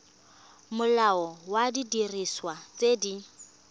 molao wa didiriswa tse di